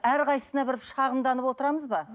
әрқайсысына бір шағымданып отырамыз ба